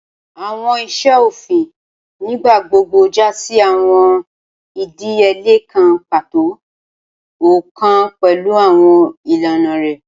Awọn iṣe ofin nigbagbogbo ja si awọn idiyele kan pato, ọkọọkan pẹlu awọn ilana rẹ